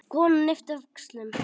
Konan yppti öxlum.